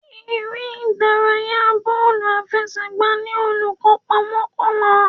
Eré ìdárayá bọ́ọ̀lù àfẹsẹ̀gbá ní olùkópa mọ́kànlá.